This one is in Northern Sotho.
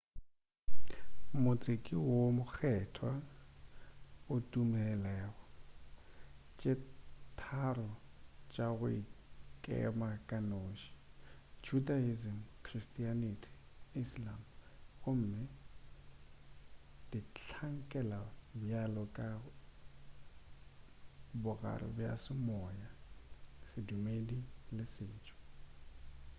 motse ke o mokgethwa go ditumelo tše tharo tša go ikema ka noši judaism christianity le islam gomme di hlankela bjalo ka bogare bja semoya sedumedi le setšo